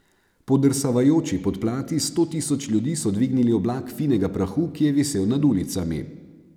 Podrsavajoči podplati sto tisoč ljudi so dvignili oblak finega prahu, ki je visel nad ulicami.